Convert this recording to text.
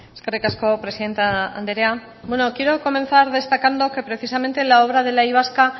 eskerrik asko presidente anderea bueno quiero comenzar destacando que precisamente la obra del y vasca